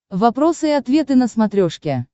вопросы и ответы на смотрешке